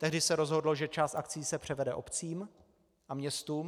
Tehdy se rozhodlo, že část akcií se převede obcím a městům.